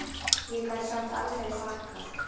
Ég gat samt aldrei þakkað